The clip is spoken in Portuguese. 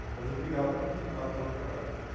Às vezes brigava até com o sindicato por causa do trabalhador.